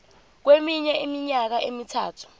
kweminye iminyaka emithathu